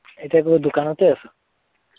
এতিয়া কত দোকানতে আছ!